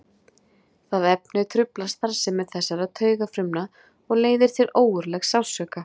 Það efni truflar starfsemi þessara taugafrumna og leiðir til ógurlegs sársauka.